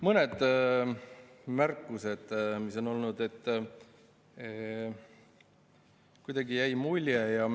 Mõned märkused mis on olnud.